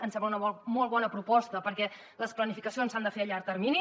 ens sembla una molt bona proposta perquè les planificacions s’han de fer a llarg termini